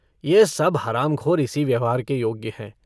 यह सब हरामखोर इसी व्यवहार के योग्य हैं।